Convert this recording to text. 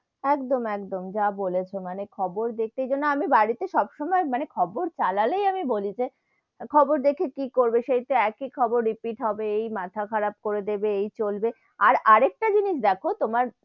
একদম, একদম যা বলেছো মানে, খবর দেখতে গিয়ে না আমি বাড়ি তে সবসময় মানে খবর চালালেই আমি বলি যে, খবর দেখে কি করবে সেই তো একই খবর repeat হবে, এই মাথা কারাপ করে দেবে, এই চলবে আর, আর একটা জিনিস দেখো তোমার